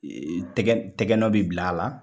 tɛgɛ tɛgɛnɔ bɛ bila a la.